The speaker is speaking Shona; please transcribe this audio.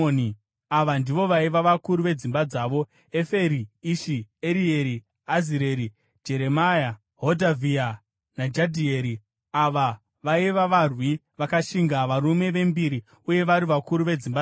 Ava ndivo vaiva vakuru vedzimba dzavo: Eferi, Ishi, Erieri, Azireri, Jeremia, Hodhavhia naJadhieri. Ava vaiva varwi vakashinga, varume vembiri uye vari vakuru vedzimba dzavo.